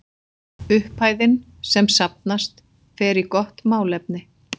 Upphæðin sem safnast fer í gott málefni.